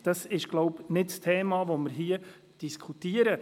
Das ist nicht das Thema, das wir hier diskutieren.